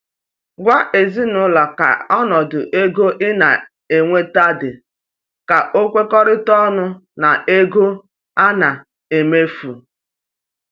Gwa ezinụlọ ka ọnọdụ ego ina enweta di ka o kwekọrịta ọnụ na ego ana emefu